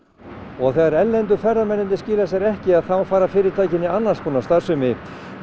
og þegar erlendu ferðamennirnir skila sér ekki þá fara fyrirtækin í starfsemi